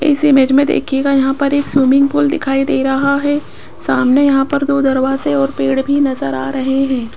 इस इमेज में देखिएगा यहां पर एक स्विमिंग पूल दिखाई दे रहा है सामने यहां पर दो दरवाजे ओर पेड़ भी नजर आ रहे है।